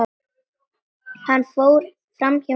Hann fór framhjá mörgum.